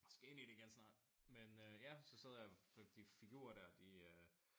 Skal ind i det igen snart men øh ja så sad jeg de figurer dér de øh